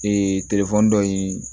telefɔni dɔ ye